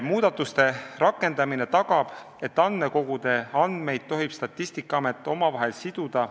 Muudatuste rakendamine tagab, et andmekogude andmeid tohib Statistikaamet omavahel siduda.